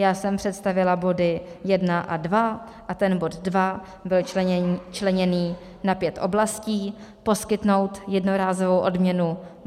Já jsem představila body 1 a 2 a ten bod 2 byl členěný na pět oblastí: poskytnout jednorázovou odměnu;